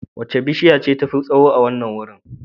Wace bishiya ce tafi tsawo a wannan wurin?